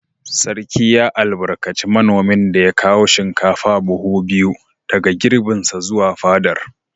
Sarki ya albarkaci manomin da ya kawo shinkafa buhu biyu daga girbinsa zuwa fadar.